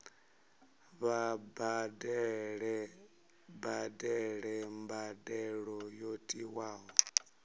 vha badele mbadelo yo tiwaho